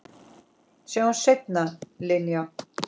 Sjáumst seinna, Linja.